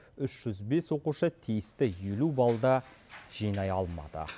үш жүз бес оқушы тиісті елу баллды жинай алмады